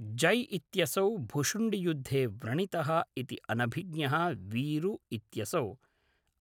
जय् इत्यसौ भुशुण्डियुद्धे व्रणितः इति अनभिज्ञः वीरु इत्यसौ